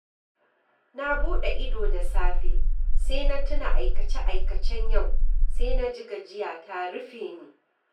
Na buɗe ido da safe sai na tuna aikace-aikacen yau, sai na ji gajiya ta rufe ni.